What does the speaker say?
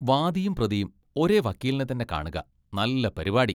വാദിയും പ്രതിയും ഒരേ വക്കീലിനെത്തന്നെ കാണുക! നല്ല പരിപാടി!